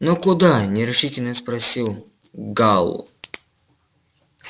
но куда нерешительно спросил гаал